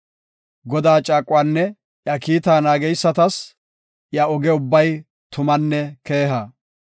Godaa caaquwanne iya kiitaa naageysatas iya oge ubbay tumanne keeha.